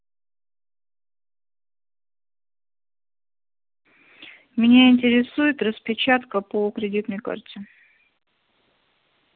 меня интересует распечатка по кредитной карте